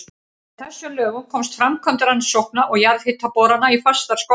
Með þessum lögum komst framkvæmd rannsókna og jarðhitaborana í fastar skorður.